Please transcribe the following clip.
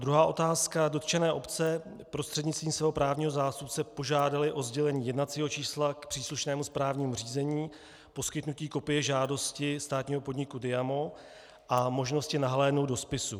Druhá otázka: Dotčené obce prostřednictvím svého právního zástupce požádaly o sdělení jednacího čísla k příslušnému správnímu řízení, poskytnutí kopie žádosti státního podniku DIAMO a možnosti nahlédnout do spisu.